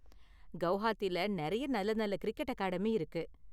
கெளஹாத்தில நிறைய நல்ல நல்ல கிரிக்கெட் அகாடமி இருக்கு.